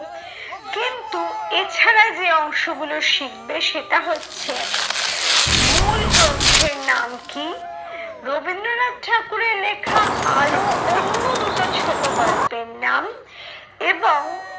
কিন্তু এছাড়া যে অংশ গুলো শিখবে সেটা হচ্ছে মূল গ্রন্থের নাম কি? রবীন্দ্রনাথ ঠাকুরের লেখা আরো অন্য দুটো ছোট গল্পের নাম এবং